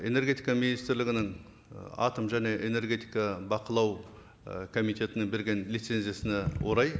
энергетика министрлігінің ы атом және энергетика бақылау і комитетіне берген лицензиясына орай